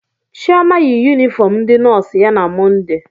Chioma yi yunifọọm ndị nọọsụ ya na Mọnde.